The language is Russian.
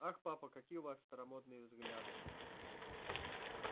ах папа какие у вас старомодные взгляды